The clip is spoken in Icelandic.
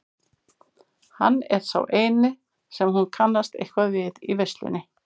Hann er sá eini sem hún kannast eitthvað við í veislunni.